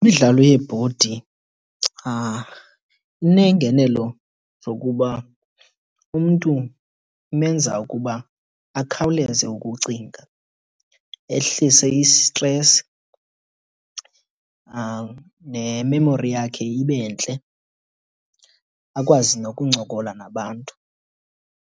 Imidlalo yebhodi iineengenelo zokuba umntu imenza ukuba akhawuleze ukucinga, ehlise i-stress, ne-memory yakhe ibe ntle, akwazi nokuncokola nabantu.